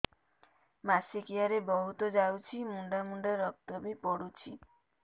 ମାସିକିଆ ରେ ବହୁତ ଯାଉଛି ମୁଣ୍ଡା ମୁଣ୍ଡା ରକ୍ତ ବି ପଡୁଛି